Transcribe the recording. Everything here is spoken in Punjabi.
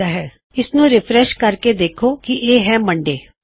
ਹੁਣ ਅਗਰ ਤੁਸੀਂ ਇਸਨੂੰ ਰਿਫਰੈਸ਼ ਕਰੋ ਤਾਂ ਤੁਸੀਂ ਦੇਖ ਸਕਦੇ ਹੋਂ ਕੀ ਉਹ ਸੋਮਵਾਰ ਹੈ